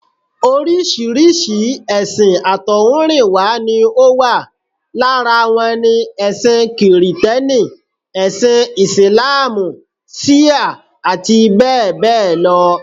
Oríṣiríṣi èsìn àtọ̀húnrìnwá ni ó wà. Lára wọn ni: ẹṣin kìrìtẹ́nì, ẹṣin Ìsìláàmù, ṣíà àti bẹ́ẹ̀ bẹ́ẹ̀ lọ